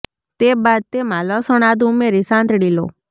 તે બાદ તેમા લસણ આદું ઉમેરી સાંતળી લો